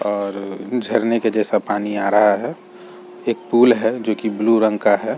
और झरने के जैसा पानी आ रहा है एक पूल है जो कि ब्लू रंग का है।